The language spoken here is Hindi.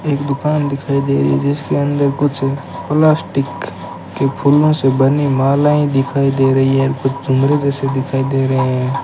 एक दुकान दिखाई दे रही है जिसके अंदर कुछ प्लास्टिक के फूलों से बनी मालाएं दिखाई दे रही है कुछ झुमरी जैसे दिखाई दे रहे हैं।